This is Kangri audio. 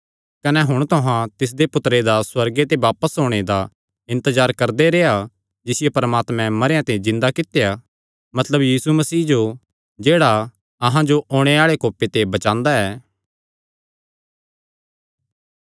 कने हुण तुहां तिसदे पुत्तरे दा सुअर्गे ते बापस ओणे दा इन्तजार करदे रेह्आ जिसियो परमात्मे मरेयां ते जिन्दा कित्या मतलब यीशु मसीह जो जेह्ड़ा अहां जो ओणे आल़े कोपे ते बचांदा ऐ